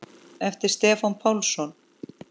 eftir Stefán Pálsson